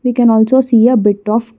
you can also see a bit of--